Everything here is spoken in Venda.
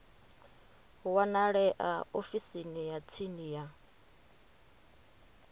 wanalea ofisini ya tsini ya